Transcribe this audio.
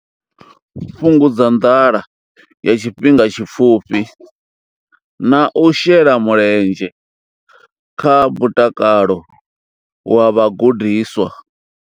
Fhungudza nḓala ya tshifhinga tshipfufhi na u shela mulenzhe kha mutakalo wa vhagudiswa.